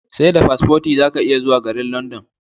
Seda paspoti zaka iya zuwa garin London